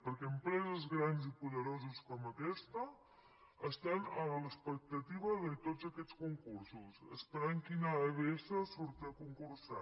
perquè empreses grans i poderoses com aquesta estan a l’expectativa de tots aquests concursos esperant quina abs surt a concursar